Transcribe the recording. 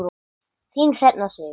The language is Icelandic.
Þín Hrefna Sif.